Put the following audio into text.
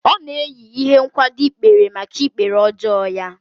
Ọ na-eyi ihe nkwado ikpere maka ikpere ọjọọ ya